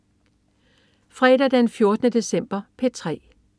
Fredag den 14. december - P3: